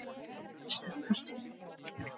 Önnur stelpa, stundi hún full vanþóknunar.